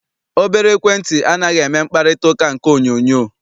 Obere ekwentị anaghị eme mkparịtaụka nke onyoonyoo